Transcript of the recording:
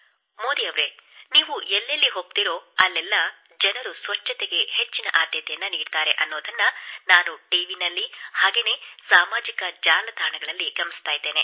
ಮೋದಿ ಅವರೇ ನೀವು ಎಲ್ಲೆಲ್ಲಿ ಹೋಗುವಿರೋ ಅಲ್ಲೆಲ್ಲ ಜನರು ಸ್ವಚ್ಛತೆಗೆ ಹೆಚ್ಚಿನ ಆದ್ಯತೆ ನೀಡುತ್ತಾರೆ ಎಂಬುದನ್ನು ನಾನು ಟಿ ವಿ ಯಲ್ಲಿ ಮತ್ತು ಸಾಮಾಜಿಕ ಜಾಲತಾಣಗಳಲ್ಲಿ ಗಮನಿಸಿದ್ದೇನೆ